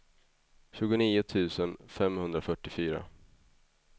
tjugonio tusen femhundrafyrtiofyra